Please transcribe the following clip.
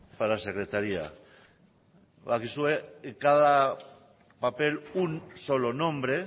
para secretaría badakizue cada papel un solo nombre